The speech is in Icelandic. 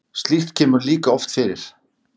Slíkt kemur líka oft fyrir.